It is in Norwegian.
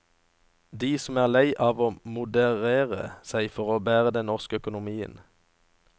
De som er lei av å moderere seg for å bære den norske økonomien.